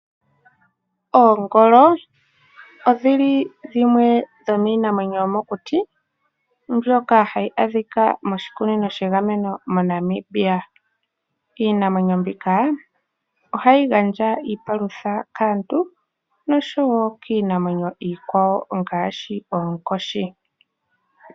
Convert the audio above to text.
Oongolo odho dhimwe dhomiinamwenyo yomokuti mbyoka hayi adhika moshikunino shegameno moNamibia. Iinamwenyo mbika ohayi gandja iipalutha kaantu nosho wo kiinamwenyo iikwawo ngaashi oonkoshi.